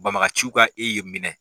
Banbagaciw ka e ye minɛ